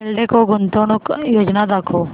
एल्डेको गुंतवणूक योजना दाखव